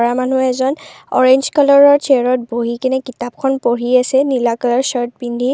ল'ৰা মানুহ এজন অৰেঞ্জ কালাৰৰ চেয়াৰত বহি কেনে কিতাপ খন পঢ়ি আছে নীলা কালাৰৰ ছাৰ্ত পিন্ধি।